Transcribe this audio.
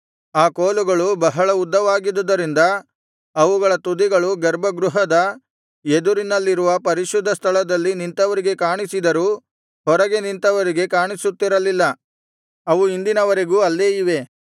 ಆ ಕೋಲುಗಳು ಬಹಳ ಉದ್ದವಾಗಿದ್ದುದರಿಂದ ಅವುಗಳ ತುದಿಗಳು ಗರ್ಭಗೃಹದ ಎದುರಿನಲ್ಲಿರುವ ಪರಿಶುದ್ಧ ಸ್ಥಳದಲ್ಲಿ ನಿಂತವರಿಗೆ ಕಾಣಿಸಿದರೂ ಹೊರಗೆ ನಿಂತವರಿಗೆ ಕಾಣಿಸುತ್ತಿರಲಿಲ್ಲ ಅವು ಇಂದಿನವರೆಗೂ ಅಲ್ಲೇ ಇವೆ